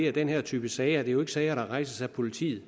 at den her type sager jo sager der rejses af politiet